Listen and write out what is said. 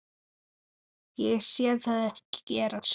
Ég sé það ekki gerast.